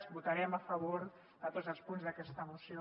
votarem a favor de tots els punts d’aquesta moció